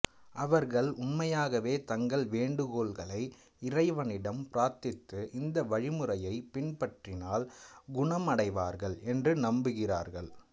அவர்கள் உண்மையாகவே தங்கள் வேண்டுகோள்களை இறைவனிடம் பிரார்த்தித்து இந்த வழிமுறையை பின்பற்றினால் குணமடைவார்கள் என்று நம்புகிறார்கள்